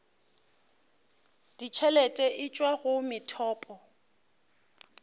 ditšhelete e tšwa go methopo